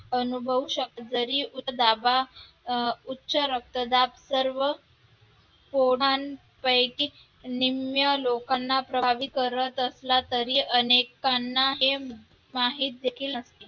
अनुभवू शकता, जर उच्च दाबा अं उच्च रक्तदाब सर्व जणांपैकी निम्म्या लोकांना प्रभावित करत असला तरी अनेकांना हे माहित देखील नसते